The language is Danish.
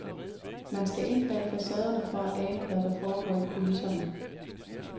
Man skal ind bag facaderne for at ane, hvad der foregår i kulisserne.